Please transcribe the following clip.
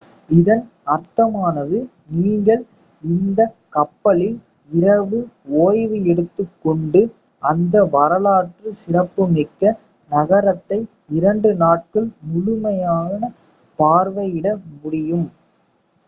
இதன் அர்த்தமானது நீங்கள் இந்தக் கப்பலில் இரவு ஓய்வு எடுத்துக்கொண்டு அந்த வரலாற்று சிறப்புமிக்க நகரத்தை இரண்டு நாட்கள் முழுமையாக பார்வையிட முடியும்